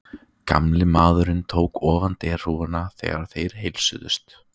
Gamli maðurinn tók ofan derhúfuna, þegar þeir heilsuðust.